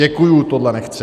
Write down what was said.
Děkuji, tohle nechci.